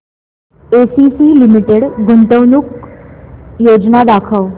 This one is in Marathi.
एसीसी लिमिटेड गुंतवणूक योजना दाखव